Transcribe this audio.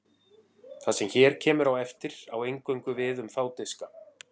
Það sem hér kemur á eftir á eingöngu við um þá diska.